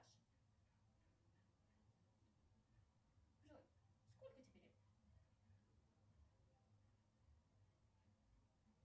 джой сколько тебе лет